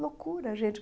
Loucura, gente!